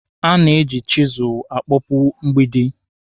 A na-eji chisụlụ akpọpụ mgbidi.